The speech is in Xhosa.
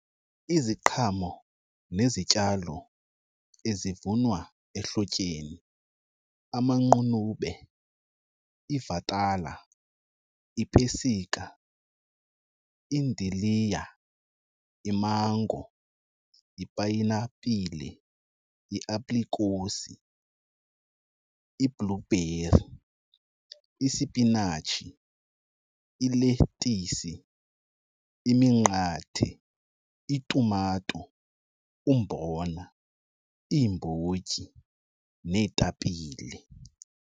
Iziqhamo nezityalo ezivunwa ehlotyeni amaqunube, iivatala, ipesika, idiliya, imango, ipayinapile, iaprikosi, i-blueberry, isipinatshi, iletisi, iminqathe, itumato, umbona, iimbotyi neetapile.